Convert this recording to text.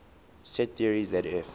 set theory zf